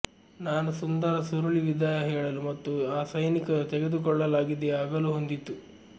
ನಾನು ಸುಂದರ ಸುರುಳಿ ವಿದಾಯ ಹೇಳಲು ಮತ್ತು ಆ ಸೈನಿಕರು ತೆಗೆದುಕೊಳ್ಳಲಾಗಿದೆ ಆಗಲು ಹೊಂದಿತ್ತು